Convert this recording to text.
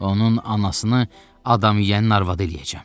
Onun anasını adam yeyənin arvadı eləyəcəm.